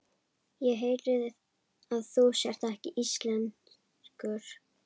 Ég heyri að þú ert ekki íslenskur.